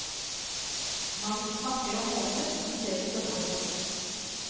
Man snakker om måneder i stedet for år.